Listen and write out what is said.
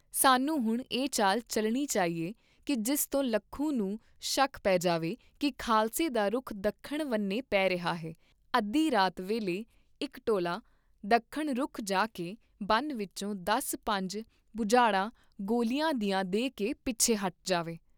ਸਾਨੂੰ ਹੁਣ ਇਹ ਚਾਲ ਚੱਲਣੀ ਚਾਹੀਏ ਕੀ ਜਿਸ ਤੋਂ ਲੱਖੂ ਨੂੰ ਸ਼ੱਕ ਪੇ ਜਾਵੇ ਕੀ ਖਾਲਸੇ ਦਾ ਰੁੱਖ ਦੱਖਣ ਵੰਨੇ ਪੇ ਰਿਹਾ ਹੈ ਤੇ ਅੱਧੀ ਰਾਤ ਵੇਲੇ ਇਕ ਟੋਲਾ ਦੱਖਣ ਰੁਖ ਜਾਕੇ ਬਨ ਵਿਚੋਂ ਦਸ ਪੰਜ ਬੁਛਾੜਾਂ ਗੋਲੀਆਂ ਦੀਆਂ ਦੇ ਕੇ ਪਿੱਛੇ ਹਟ ਜਾਵੇ।